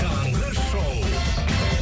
таңғы шоу